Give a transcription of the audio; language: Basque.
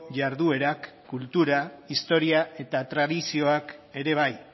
jarduerak kultura historia eta tradizioak ere bai